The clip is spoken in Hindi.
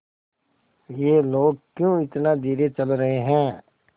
ये लोग क्यों इतना धीरे चल रहे हैं